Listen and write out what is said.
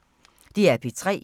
DR P3